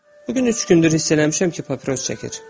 Bu gün üç gündür hiss eləmişəm ki, papiros çəkir.